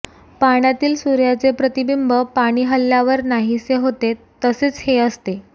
पाण्यातील सुर्याचे प्रतिबिंब पाणी हलल्यावर नाहीसे होते तसेच हे असते